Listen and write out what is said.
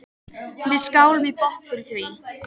Við skálum í botn fyrir því.